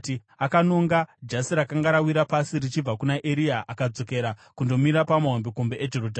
Akanonga jasi rakanga rawira pasi, richibva kuna Eria akadzokera kundomira pamahombekombe eJorodhani.